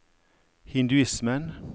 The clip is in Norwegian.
hinduismen